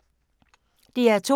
DR2